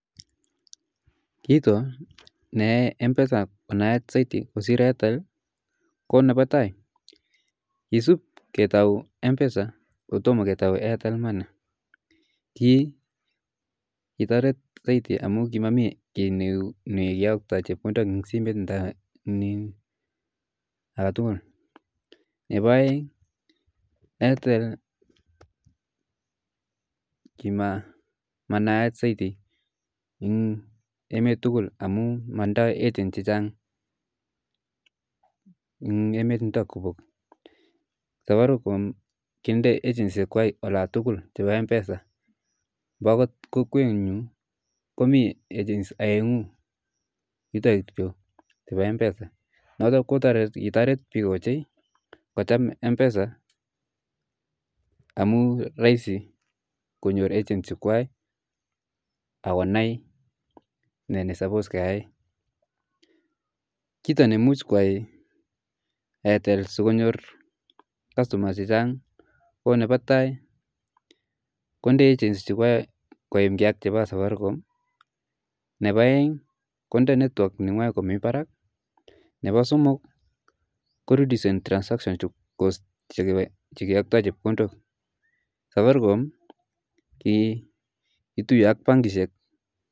kitaa nea mpesaapp konaak zaidi kosir aitel , ko nebaa tai kisib kotai mpsa kotoma ketai airtel money kitarit zaidi kimakomii kii negeyaktae rabinik eng simoo ndaa age tugul , nebaa aeng aieretl money kimaa naaat zaizi eng emet tugul amuu matindai agents chechang eng emeet amuuu kindai agency olaan tugul eng emmet amuu eng kokwenyuu komii agency aaengu chebaa mpsa notak ko kikitarit biik mpesa ,konyor customers chechang